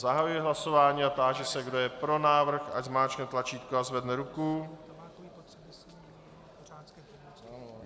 Zahajuji hlasování a táži se, kdo je pro návrh, ať zmáčkne tlačítko a zvedne ruku.